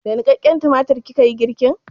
Da niƙaƙƙen tumatir kika yi girkin?